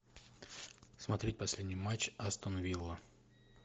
смотреть последний матч астон вилла